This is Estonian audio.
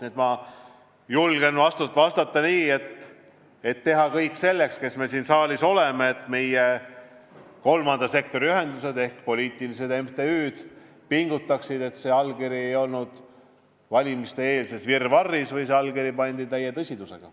Nii et ma julgen vastata, et meil, kes me siin saalis oleme, tuleb teha kõik selleks, et kolmanda sektori ühendused ehk poliitilised MTÜ-d pingutaksid, et oleks selge, et seda allkirja ei pandud valimiste-eelses virvarris, vaid see pandi täie tõsidusega.